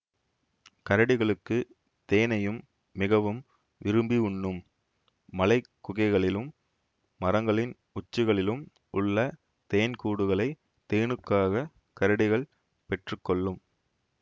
கரடிகளுக்கு தேனையும் மிகவும் விரும்பி உண்ணும் மலை குகைகளிலும் மரங்களின் உச்சிகளிலும் உள்ள தேன் கூடுகளை தேனுக்காக கரடிகள் பெற்று கொள்ளும்